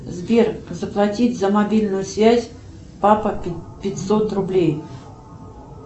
сбер заплатить за мобильную связь папа пятьсот рублей